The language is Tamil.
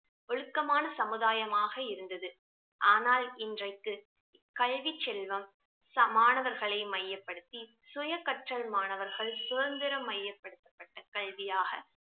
ஒழுக்கமான சமுதாயமாக இருந்தது ஆனால் இன்றைக்கு கல்வி செல்வம் மாணவர்களை மையப்படுத்தி சுய கற்றல் மாணவர்கள் சுதந்திரம் மையப்படுத்தப்பட்ட கல்வியாக